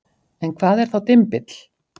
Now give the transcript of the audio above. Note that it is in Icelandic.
en hvað var þá dymbill